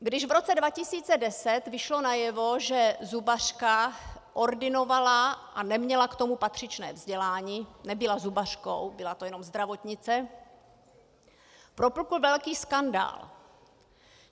Když v roce 2010 vyšlo najevo, že zubařka ordinovala a neměla k tomu patřičné vzdělání, nebyla zubařkou, byla to jenom zdravotnice, propukl velký skandál.